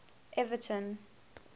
everton